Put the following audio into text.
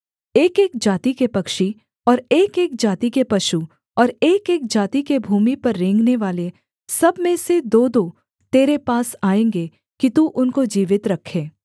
एकएक जाति के पक्षी और एकएक जाति के पशु और एकएक जाति के भूमि पर रेंगनेवाले सब में से दोदो तेरे पास आएँगे कि तू उनको जीवित रखे